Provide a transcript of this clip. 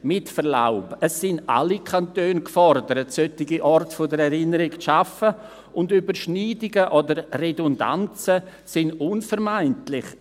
Mit Verlaub: Es sind alle Kantone gefordert, solche Orte der Erinnerung zu schaffen, und Überschneidungen und Redundanzen sind unvermeidlich.